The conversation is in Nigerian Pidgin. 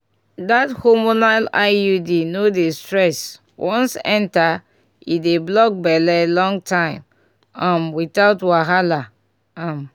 that hormonal iud no dey stress once enter e dey block belle long time um without wahala um.